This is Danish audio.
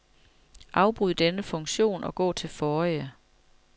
Afbryd denne funktion og gå til forrige.